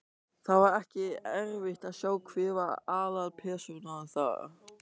Það var ekki erfitt að sjá hver var aðalpersónan þar.